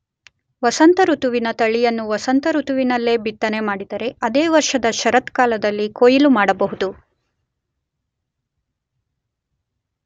ವಸಂತಋತುವಿನ ತಳಿಯನ್ನು ವಸಂತ ಋತುವಿನಲ್ಲಿ ಬಿತ್ತನೆ ಮಾಡಿದರೆ ಅದೇ ವರ್ಷದ ಶರತ್ಕಾಲದಲ್ಲಿ ಕೊಯಿಲು ಮಾಡಬಹುದು.